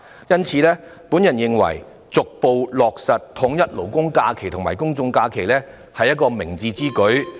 因此，我認為逐步落實統一勞工假期和公眾假期是明智之舉。